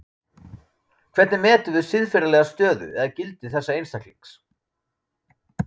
Hvernig metum við siðferðilega stöðu eða gildi þessa einstaklings?